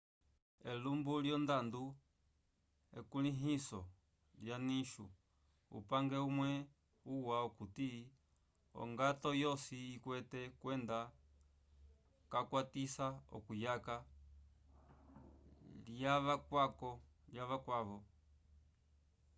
elumbu lyondando ekulĩhiso lya nicho upange umwe uwa okuti ongato yosi ikwete kwenda kayukwatisa okuyaka l'avakwavo